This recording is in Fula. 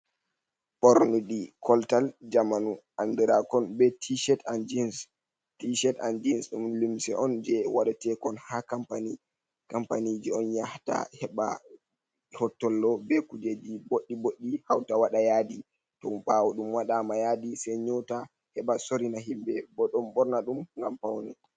Ɓornidi koltal jamanu andirakon be tshet an geans, ɗum limse on je wadatekon ha kampani je on yahata heɓa hottollo be kujeji boɗɗi boɗɗi hauta waɗa yadi ton ɓawo ɗum wadama yadi sei nyota heɓa sorina himɓɓe bo ɗon ɓorna ɗum ngam paune.